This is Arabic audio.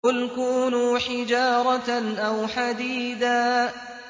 ۞ قُلْ كُونُوا حِجَارَةً أَوْ حَدِيدًا